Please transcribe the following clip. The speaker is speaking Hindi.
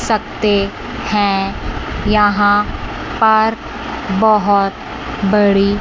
सकते हैं यहां पर बहोत बड़ी--